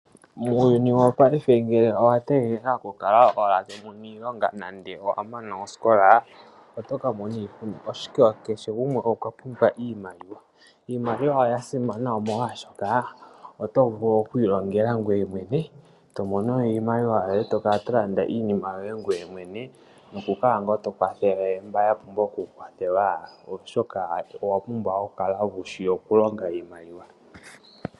Muuyuni wopayife nenge owa tegelela owala to mono iilonga ngele wa mana osikola otoka mona iihuna, oshoka kehe gumwe okwa pumbwa iimaliwa. Iimaliwa oya simana oshoka oto vulu oku ilongela ngweye mwene to mono iimaliwa to kala to landa iinima yoye ngweye mwene. Noku kala ngaa to kwathele mboka ya pumbwa oku kwathelwa oshoka owa pumbwa oku kala wushi oku longa iimaliwa.